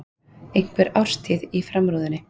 Einhver árstíð á framrúðunni.